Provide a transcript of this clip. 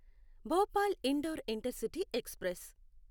Bhopal Indore intercity express